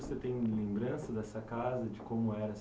você tem lembranças dessa casa, de como era